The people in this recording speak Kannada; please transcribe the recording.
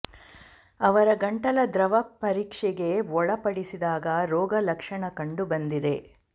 ಅವರ ಗಂಟಲ ದ್ರವ ಪರೀಕ್ಷೆಗೆ ಒಳ ಪಡಿಸಿದಾಗ ರೋಗ ಲಕ್ಷಣ ಕಂಡು ಬಂದಿದೆ